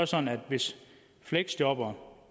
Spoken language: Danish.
sådan at hvis fleksjobbere